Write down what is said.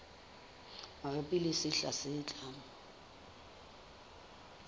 mabapi le sehla se tlang